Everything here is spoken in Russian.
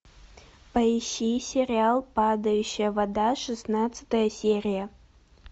поищи сериал падающая вода шестнадцатая серия